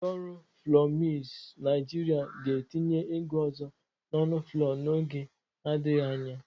Ụlọ ọrụ flọọ Milz Naịjịrịa ga-etinye ego ọzọ n'ọnụ flọọ n'oge na-adịgji anya.